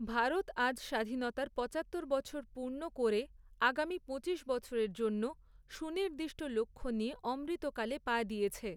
ভারত আজ স্বাধীনতার পঁচাত্তর বছর পূর্ণ করে, আগামী পঁচিশ বছরের জন্য সুনির্দিষ্ট লক্ষ্য নিয়ে অমৃতকালে পা দিয়েছে।